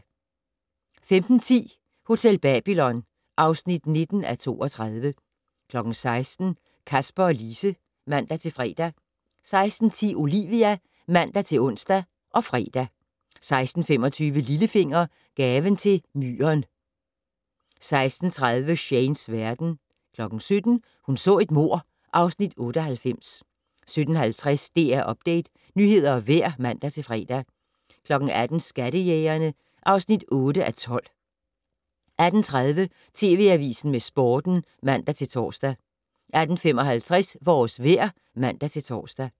15:10: Hotel Babylon (19:32) 16:00: Kasper og Lise (man-fre) 16:10: Olivia (man-ons og fre) 16:25: Lillefinger - Gaven til Myren 16:30: Shanes verden 17:00: Hun så et mord (Afs. 98) 17:50: DR Update - nyheder og vejr (man-fre) 18:00: Skattejægerne (8:12) 18:30: TV Avisen med Sporten (man-tor) 18:55: Vores vejr (man-tor)